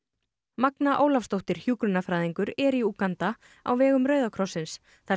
magna Ólafsdóttir hjúkrunarfræðingur er í Úganda á vegum Rauða krossins þar